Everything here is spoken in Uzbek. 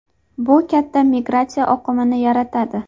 Bu katta migratsiya oqimini yaratadi.